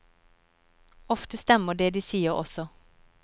Ofte stemmer det de sier også.